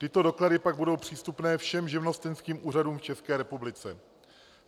Tyto doklady pak budou přístupné všem živnostenským úřadům v České republice.